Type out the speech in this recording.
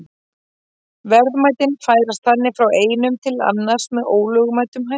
Verðmætin færast þannig frá einum til annars með ólögmætum hætti.